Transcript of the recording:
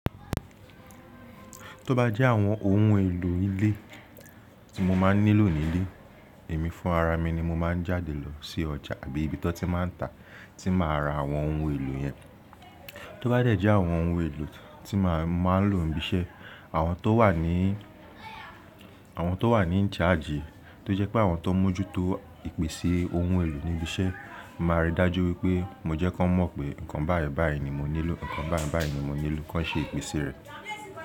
Tó bá jẹ́ àwọn ohun èlò ilé tí mo máa ń nílò nílé, èmi fún ara mi ni mo máa ń jáde lọ sí ọjà àbí ibi tó ti máa ń ta tí máa ra àwọn ohun èlò yẹn. Tó bá dẹ̀ jẹ́ àwọn ohun èlò tí màá ń lò níbi iṣẹ́, àwọn tó wà ní, àwọn tó wà ní in charge, tó jẹ́ pé àwọn tó mójú tó ìpèsè ohun èlò níbi iṣẹ́, màá rí dájú wípé mo jẹ́ kí wọn mọ̀ pé nǹkan báyìí báyìí ni mo nílò, nǹkan báyìí báyìí ni mo nílò kí wọ́n ṣe ìpèsè rẹ̀.